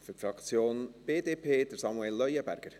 Für die Fraktion BDP, Samuel Leuenberger.